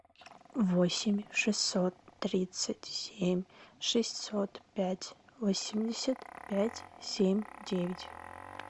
восемь шестьсот тридцать семь шестьсот пять восемьдесят пять семь девять